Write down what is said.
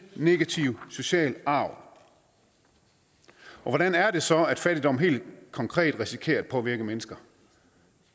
negativ social arv og hvordan er det så at fattigdom helt konkret risikerer at påvirke mennesker